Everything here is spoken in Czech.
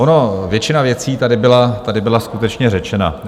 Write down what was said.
Ona většina věcí tady byla skutečně řečena.